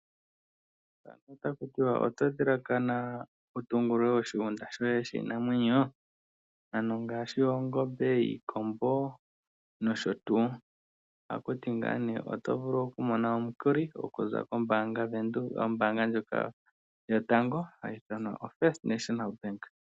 Otaku tiwa, oto dhilakana oku tungulula oshigunda shoye shiinamwenyo, ano ngaashi oongombe, iikombo nosho tuu, otaku ti ngaa nee oto vulu oku mona omukuli okuza koombaanga ndjoka yotango yoFirst National Bank.